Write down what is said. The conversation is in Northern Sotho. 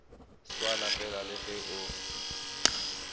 swana fela le ge o